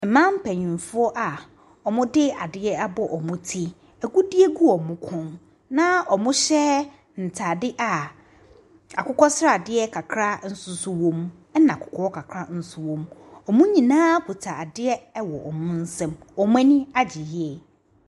Mmaa mpanimfoɔ a wɔde adeɛ abɔ wɔn ti, agudeɛ gu wɔn kɔn, na wɔhyɛ ntadeɛ a akokɔsradeɛ kakra nso wɔ mu, ɛna kɔkɔɔ kakra nso wɔ mu. Wɔn nyinaa kita adew wɔ wɔn nsam. Wɔn ani agye yie.